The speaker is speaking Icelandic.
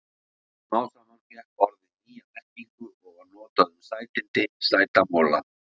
Smám saman fékk orðið nýja merkingu og var notað um sætindi, sæta mola.